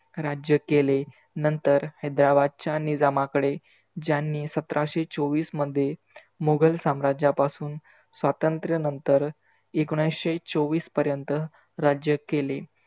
राज्य केले. नंतर हैद्राबादच्या निजामाकडे ज्यांनी सतराशे चोवीस मध्ये मुघल साम्राज्यापासून स्वातंत्र्यानंतर एकोनीसशे चोवीस पर्यंत राज्य केले.